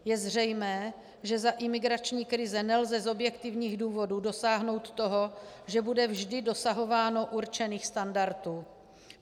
Je zřejmé, že za imigrační krize nelze z objektivních důvodů dosáhnout toho, že bude vždy dosahováno určených standardů.